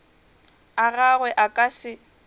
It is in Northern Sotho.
a gagwe a ka se